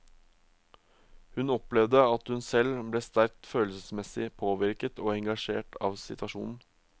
Hun opplevde at hun selv ble sterkt følelsesmessig påvirket og engasjert av situasjonen.